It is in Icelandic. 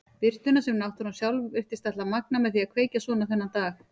Birtuna sem náttúran sjálf virtist ætla að magna með því að kveikja svona þennan dag.